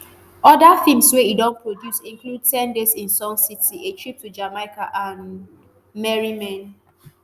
oda feems wey e don produce include ten days in sun city a trip to jamaica and merry men.